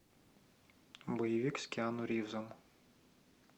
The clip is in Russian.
боевик с киану ривзом